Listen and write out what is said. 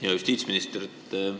Hea justiitsminister!